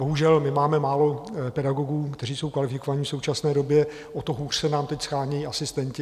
Bohužel, my máme málo pedagogů, kteří jsou kvalifikovaní v současné době, o to hůř se nám teď shánějí asistenti.